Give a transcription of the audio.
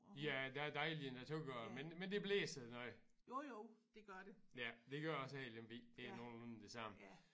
Ja der er dejlig natur og men men det blæser noget. Ja det gør det også her i Lemvig det er nogenlunde det samme